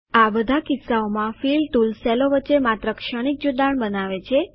આ બધા કિસ્સાઓમાં ફિલ ટુલ સેલો વચ્ચે માત્ર ક્ષણિક જોડાણ બનાવે છે